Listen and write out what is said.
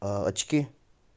очки